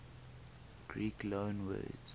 greek loanwords